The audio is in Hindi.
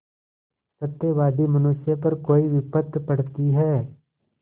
सत्यवादी मनुष्य पर कोई विपत्त पड़ती हैं